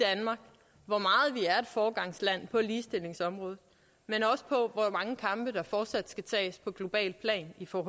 foregangsland på ligestillingsområdet men også på hvor mange kampe der fortsat skal tages på globalt plan for